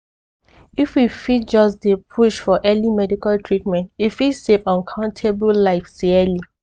if we fit just dey push for early medical treatment e fit save uncountable lives yearly.